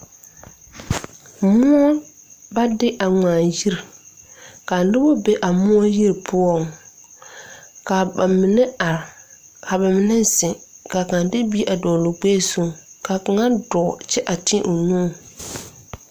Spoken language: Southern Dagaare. Moɔ ba de a ngmaa yiri kaa nobɔ be a moɔ yiri poɔŋ kaa ba mine are ka ba mine zeŋ kaa kaŋ de bie a dɔgloo gbɛɛ zuŋ kaa kaŋa dɔɔ kyɛ a teɛ nu.